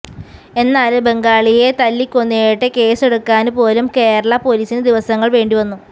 എന്നാല് ബംഗാളിയെ തല്ലിക്കൊന്നിട്ട് കേസെടുക്കാന് പോലും കേരളാ പോലീസിന് ദിവസങ്ങള് വേണ്ടിവന്നു